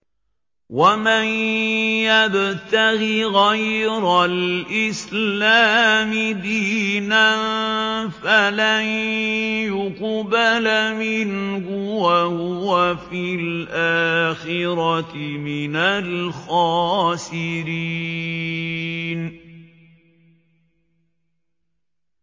وَمَن يَبْتَغِ غَيْرَ الْإِسْلَامِ دِينًا فَلَن يُقْبَلَ مِنْهُ وَهُوَ فِي الْآخِرَةِ مِنَ الْخَاسِرِينَ